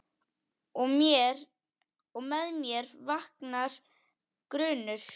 Og með mér vaknar grunur.